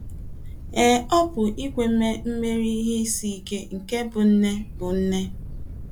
Ee, ọ pụrụ ikwe mee imeri ihe isi ike nke ịbụ nne ịbụ nne.